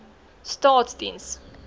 staatsdiens